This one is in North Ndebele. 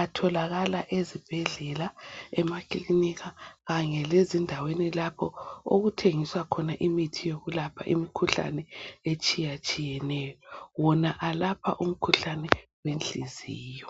atholakala ezibhedlela e makilinika Kanye lezindaweni lapho okuthengiswa khona imithi etshiyatshiyeneyo wona elapha umkhuhlane wenhliziyo.